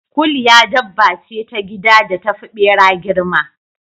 Kuliya dabba ce ta gida da tafi ɓera girma.